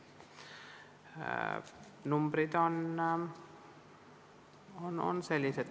Ja numbrid paraku on sellised.